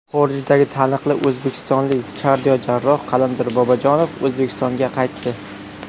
Xorijdagi taniqli o‘zbekistonlik kardiojarroh Qalandar Bobojonov O‘zbekistonga qaytdi.